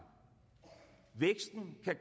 at